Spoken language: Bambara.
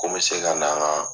Ko n bi se ka na an ka